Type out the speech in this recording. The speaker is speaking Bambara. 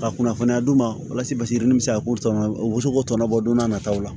Ka kunnafoniya d'u ma walasa basi min bɛ se ka k'u tɔnɔ o bɛ se k'o tɔnɔ bɔ n'a nataw la